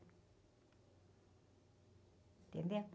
Entendeu?